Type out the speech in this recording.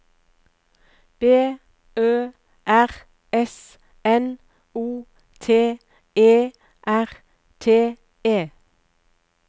B Ø R S N O T E R T E